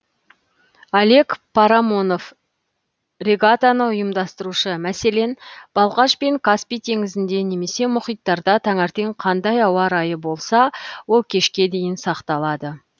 олег парамонов регатаны ұйымдастырушы мәселен балқаш пен каспий теңізінде немесе мұхиттарда таңертең қандай ауа райы болса ол кешке дейін сақталады